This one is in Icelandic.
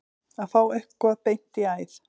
Að fá eitthvað beint í æð